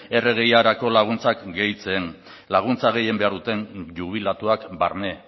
rgirako laguntzak gehitzen laguntza gehien behar duten jubilatuak barne